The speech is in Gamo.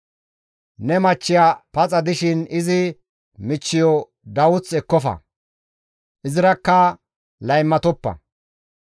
«Ne machchiya paxa dishin izi michchiyo dawuth ekkofa; izirakka laymatoppa.